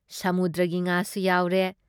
ꯁꯃꯨꯗ꯭ꯔꯒꯤ ꯉꯥꯁꯨ ꯌꯥꯎꯔꯦ ꯫